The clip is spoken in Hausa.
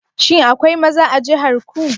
Shin akwai maza a jihar ku?